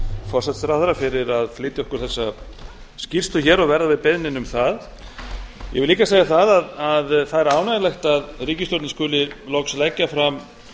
forsætisráðherra fyrir að flytja okkur þessa skýrslu og verða við beiðninni um það ég vil líka segja að það er ánægjulegt að ríkisstjórnin skuli loksins leggja fram